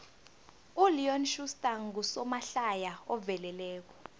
uleon schuster ngusomahlaya oveleleko